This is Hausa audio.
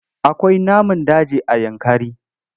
Akwai namun daji a Yankari.